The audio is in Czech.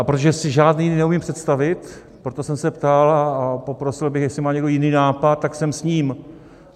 A protože si žádný neumím představit, proto jsem se ptal a poprosil bych, jestli má někdo jiný nápad, tak sem s ním.